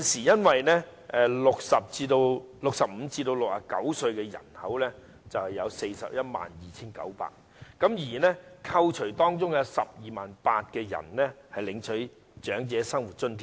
現時65歲至69歲的人口有 412,900 人，但當中有 128,000 人領取長者生活津貼。